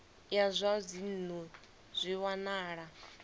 ya zwa dzinnu zwi wanala